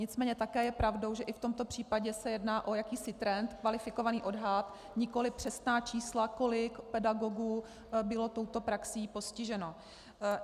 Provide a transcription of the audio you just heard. Nicméně také je pravdou, že i v tomto případě se jedná o jakýsi trend, kvalifikovaný odhad, nikoli přesná čísla, kolik pedagogů bylo touto praxí postiženo.